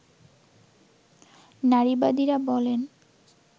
নারীবাদীরা বলেন